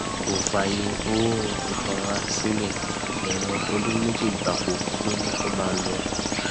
kò fààyè owó ìtanràn sílé ẹwọn ọdún méjì gbáko ló ní kó máa lọ